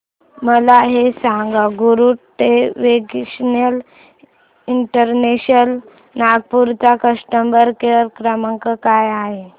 मला हे सांग गरुडवेग इंटरनॅशनल नागपूर चा कस्टमर केअर क्रमांक काय आहे